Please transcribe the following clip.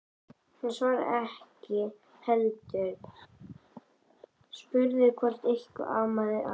Hann svaraði því ekki heldur spurði hvort eitthvað amaði að.